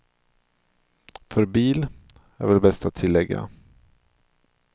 För bil, är väl bäst att tillägga.